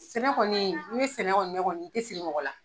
Sɛnɛ kɔni n'i bɛ sɛnɛ kɔni kɛ i tɛ siri mɔgɔ la.